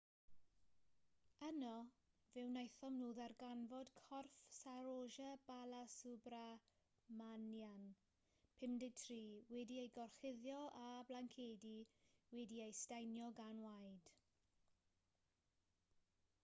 yno fe wnaethon nhw ddarganfod corff saroja balasubramanian 53 wedi'i gorchuddio â blancedi wedi'u staenio gan waed